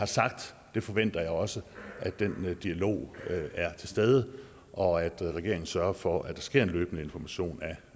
sagt forventer jeg også at den dialog er til stede og at regeringen sørger for at der sker en løbende information